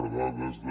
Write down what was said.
a dades de